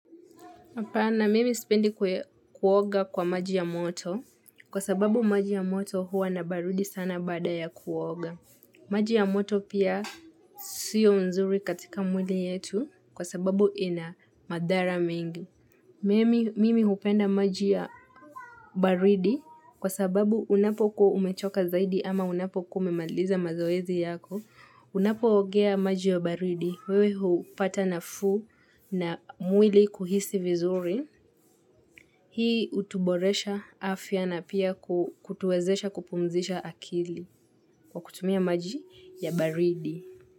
Hapana mimi sipendi kuoga kwa maji ya moto kwa sababu maji ya moto huwa na baridi sana baada ya kuoga. Maji ya moto pia siyo mzuri katika mwili yetu kwa sababu ina madhara mingi. Mimi upenda maji ya baridi kwa sababu unapokuwa umechoka zaidi ama unapo kumemaliza mazoezi yako. Unapoogea maji ya baridi. Wewe hupata nafuu na mwili kuhisi vizuri. Hii utuboresha afya na pia kutuwezesha kupumzisha akili kwa kutumia maji ya baridi.